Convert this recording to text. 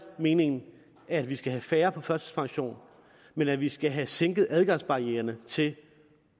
meningen at vi skal have færre på førtidspension men at vi skal have sænket adgangsbarriererne til